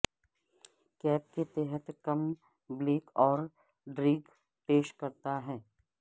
cap کے تحت کم بلک کم ڈریگ پیش کرتا ہے